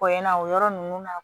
Ko in na o yɔrɔ ninnu na